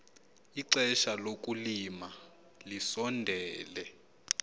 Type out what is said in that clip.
ixesha lokulima lisondele